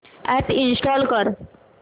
app install कर